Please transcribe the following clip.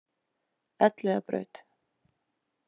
Elliðabraut